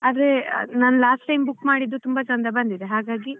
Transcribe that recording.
ಆದ್ರೆ ನಾನ್ last time book ಮಾಡಿದ್ದು ತುಂಬಾ ಚೆಂದ ಬಂದಿದೆ ಹಾಗಾಗಿ.